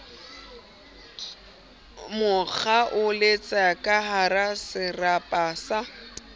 mo kgaoletsa kahara serapa sa